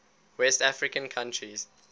west african countries